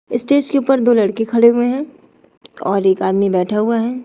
Stage के ऊपर दो लड़की खड़े हुए हैं और एक आदमी बैठा हुआ है।